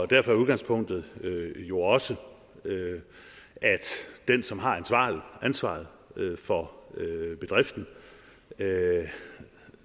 derfor er udgangspunktet jo også at den som har ansvaret for bedriften